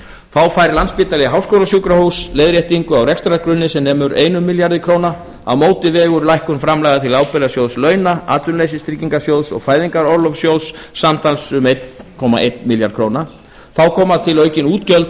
þá fær landspítali háskólasjúkrahús leiðréttingu á rekstrargrunni sem nemur einum milljarði króna á móti vegur lækkun framlaga til ábyrgðasjóðs launa atvinnuleysistryggingasjóðs og fæðingarorlofssjóðs samtals um einn komma einn milljarð króna þá koma til aukin útgjöld